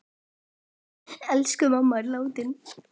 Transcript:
Elsku mamma er látin.